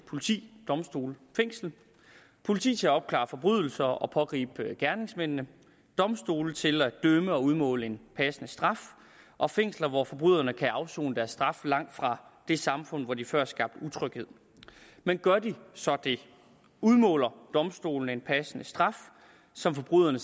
politi domstole og fængsel politi til at opklare forbrydelser og pågribe gerningsmændene domstole til at dømme og udmåle en passende straf og fængsler hvor forbryderne kan afsone deres straf langt fra det samfund hvor de før skabte utryghed men gør de så det udmåler domstolene en passende straf som forbryderne